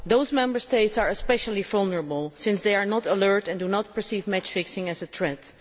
Those Member States are especially vulnerable, since they are not alert and do not perceive match fixing as a threat.